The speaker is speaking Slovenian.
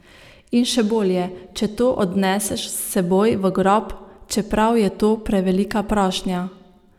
In še bolje, če to odneseš s seboj v grob, čeprav je to prevelika prošnja.